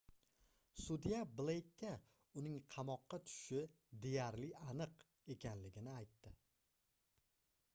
sudya bleykka uning qamoqqa tushishi deyarli aniq ekanligini aytdi